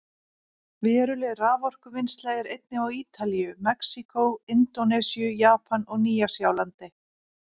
Veruleg raforkuvinnsla er einnig á Ítalíu, Mexíkó, Indónesíu, Japan og Nýja-Sjálandi.